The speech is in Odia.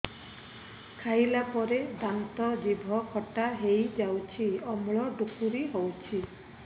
ଖାଇଲା ପରେ ଦାନ୍ତ ଜିଭ ଖଟା ହେଇଯାଉଛି ଅମ୍ଳ ଡ଼ୁକରି ହଉଛି